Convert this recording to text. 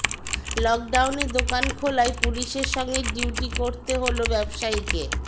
লকডাউনে দোকান খোলায় পুলিশের সঙ্গে ডিউটি করতে হলো ব্যবসায়ীকে